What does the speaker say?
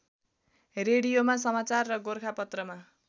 रेडियोमा समाचार र गोरखापत्रमा